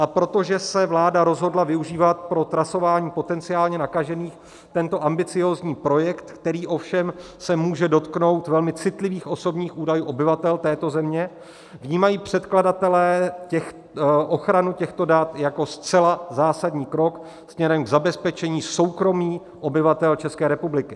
A protože se vláda rozhodla využívat pro trasování potenciálně nakažených tento ambiciózní projekt, který se ovšem může dotknout velmi citlivých osobních údajů obyvatel této země, vnímají předkladatelé ochranu těchto dat jako zcela zásadní krok směrem k zabezpečení soukromí obyvatel České republiky.